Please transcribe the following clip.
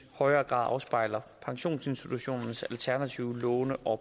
højere grad afspejler pensionsinstitutionernes alternative låne og